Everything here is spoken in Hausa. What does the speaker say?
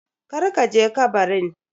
Kar ka je kabarin.